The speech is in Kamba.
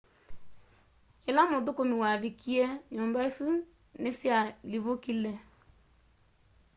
ĩla mũthũkũmi wavikie nyũmba isũ nĩsyalivukile